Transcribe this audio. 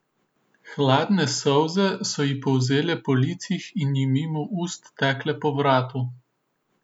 Hladne solze so ji polzele po licih in ji mimo ust tekle po vratu.